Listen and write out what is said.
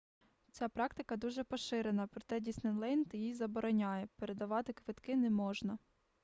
ця практика дуже поширена проте діснейленд її забороняє передавати квитки не можна